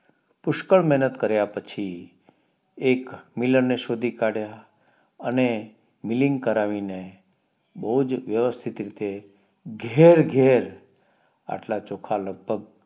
પુષ્કળ મેહનત કાર્ય પછી એક મિલાન ને શોધી કાઢ્યા અને મિલિંગ કરાવીને બોવ જ વ્યવસ્થિત રીતે ઘેર ઘેર એટલા ચોખા લગભગ